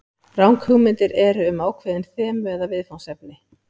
Ranghugmyndir eru með ákveðin þemu eða viðfangsefni.